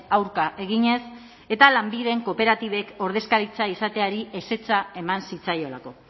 aurka eginez eta lanbiden kooperatibek ordezkaritza izateari ezetza eman zitzaiolako